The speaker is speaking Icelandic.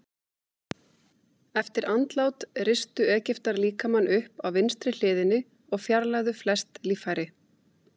Eftir andlát ristu Egyptar líkamann upp á vinstri hliðinni og fjarlægðu flest líffæri.